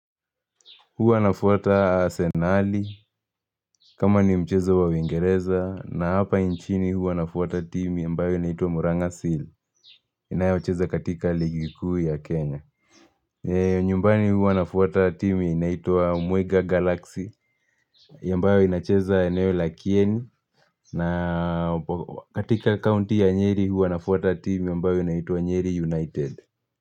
Huwa nafuata asenali, kama ni mchezo wa iingereza, na hapa nchini huwa nafuata timu ambayo inaitwa Muranga Seal, inayocheza katika ligi kuu ya Kenya. Nyumbani huwa nafuata timu inaitwa Mwega Galaxy, ambayo inacheza eneo la kieni, na katika county ya nyeri huwa nafuata timu ambayo inaitua nyeri United.